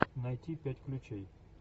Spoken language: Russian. найти пять ключей